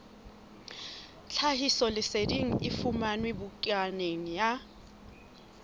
tlhahisoleseding e fumanwe bukaneng ya